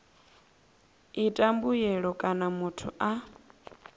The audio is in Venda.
ita mbuyelo kana muthu a